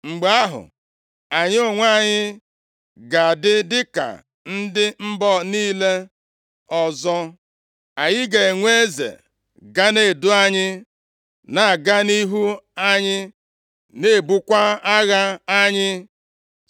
Mgbe ahụ, anyị onwe anyị ga-adị ka ndị mba niile ọzọ, anyị ga-enwe eze ga na-edu anyị, na-aga nʼihu anyị na-ebukwa agha anyị.”